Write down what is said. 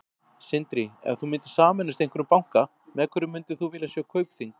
Sindri: Ef þú myndir sameinast einhverjum banka, með hverjum myndir þú vilja sjá Kaupþing?